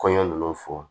Kɔɲɔ ninnu fɔ